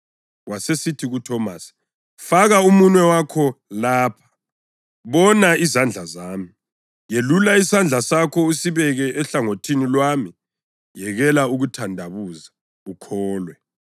Wasesithi kuThomasi, “Faka umunwe wakho lapha; bona izandla zami. Yelula isandla sakho usibeke ehlangothini lwami. Yekela ukuthandabuza ukholwe.”